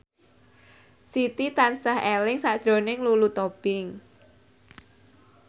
Siti tansah eling sakjroning Lulu Tobing